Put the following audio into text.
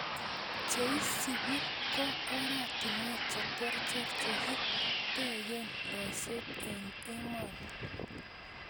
Che isupi ko oratinweek cheterter chekitegee loiseet eng emoni.